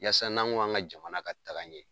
Yasa n'an ko k'an ka jamana ka taga ɲɛ